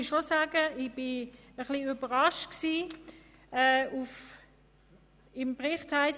Ich muss sagen, dass ich überrascht war, im Bericht Folgendes zu lesen: